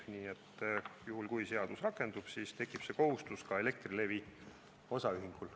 Nii et juhul, kui seadus rakendub, siis tekib see kohustus ka Elektrilevi Osaühingul.